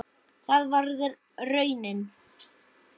Það varð raunin.